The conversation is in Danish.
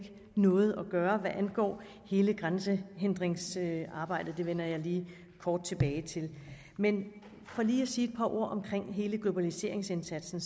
noget at gøre hvad angår hele grænsehindringsarbejdet og det vender jeg lige kort tilbage til men for lige at sige et par ord om hele globaliseringsindsatsen